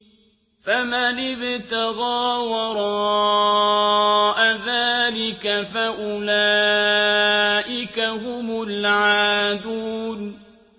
فَمَنِ ابْتَغَىٰ وَرَاءَ ذَٰلِكَ فَأُولَٰئِكَ هُمُ الْعَادُونَ